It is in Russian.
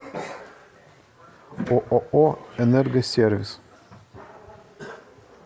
ооо энергосервис